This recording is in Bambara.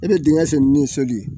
E bɛ dingɛ seni ni soli